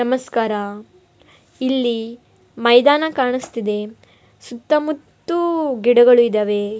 ನಮಸ್ಕಾರ ಇಲ್ಲಿ ಮೈದಾನ ಕಾಣಿಸ್ತಿದೆ ಸುತ್ತ ಮುತ್ತ ಗಿಡಗಳಿದಾವೆ.